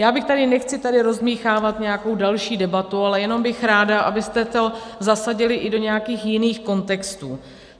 Já bych tady - nechci tady rozdmýchávat nějakou další debatu, ale jenom bych ráda, abyste to zasadili i do nějakých jiných kontextů.